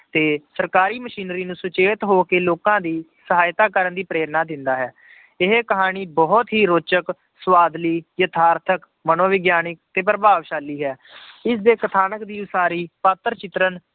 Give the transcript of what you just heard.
ਤੇ ਸਰਕਾਰੀ ਮਸ਼ੀਨਰੀ ਨੂੰ ਸੁਚੇਤ ਹੋ ਕੇ ਲੋਕਾਂ ਦੀ ਸਹਾਇਤਾ ਕਰਨ ਦੀ ਪ੍ਰੇਰਨਾ ਦਿੰਦਾ ਹੈ, ਇਹ ਕਹਾਣੀ ਬਹੁਤ ਹੀ ਰੋਚਕ ਸਵਾਦਲੀ ਯਥਾਰਥਕ, ਮਨੋਵਿਗਿਆਨਕ, ਤੇ ਪ੍ਰਭਾਵਸ਼ਾਲੀ ਹੈ ਇਸਦੇ ਕਥਾਨਕ ਦੀ ਉਸਾਰੀ ਪਾਤਰ ਚਿੱਤਰਨ